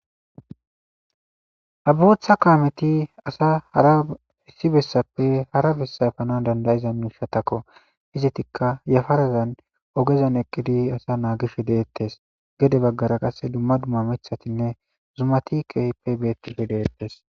Ha botha kaameti asa hara issi bessappe hara bessayfanan dandayiza miishatakko hizetikka yafarazan ogezan eqqidi asa naagish deettes gede baggara qasse dumma dumma mithatinne zumatikehipe keehippe betishe de'etes